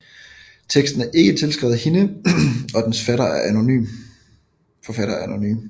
Teksten er ikke tilskrevet hende og dens forfatter er anonym